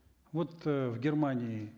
вот э в германии